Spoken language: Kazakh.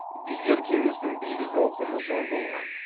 билер кеңесінің билік ауқымы зор болған